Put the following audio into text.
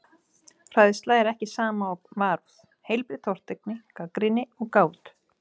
Hræðsla er ekki sama og varúð, heilbrigð tortryggni, gagnrýni og gát.